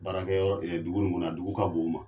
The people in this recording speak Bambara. Baarakɛ yɔrɔ dugu in kɔnɔ na dugu ka bon o ma